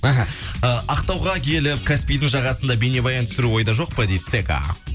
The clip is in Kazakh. аха э ақтауға келіп каспийдың жағасында бейнебаян түсіру ойда жоқ па дейді сека